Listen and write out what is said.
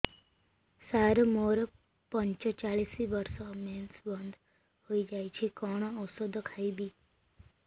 ସାର ମୋର ପଞ୍ଚଚାଳିଶି ବର୍ଷ ମେନ୍ସେସ ବନ୍ଦ ହେଇଯାଇଛି କଣ ଓଷଦ ଖାଇବି